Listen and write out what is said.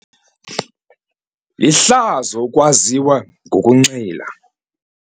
Lihlazo ukwaziwa ngokunxila.